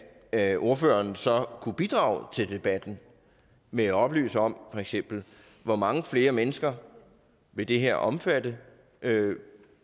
at ordføreren så kunne bidrage til debatten med at oplyse om for eksempel hvor mange flere mennesker vil det her omfatte